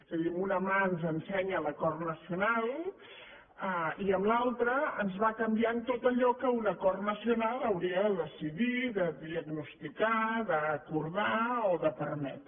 és a dir amb una mà ens ensenya l’acord nacional i amb l’altra ens va canviant tot allò que un acord nacional hauria de decidir de diagnosticar d’acordar o de permetre